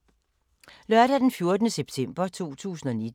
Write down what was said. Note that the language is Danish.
Lørdag d. 14. september 2019